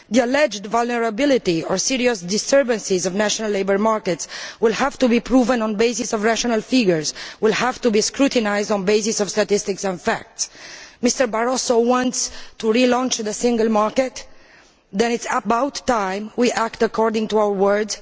The alleged vulnerability, or serious disturbances, of national labour markets will have to be proven on the basis of rational figures and will have to be scrutinised on the basis of statistics and facts. If Mr Barroso wants to relaunch the single market, then it is about time we acted according to our words.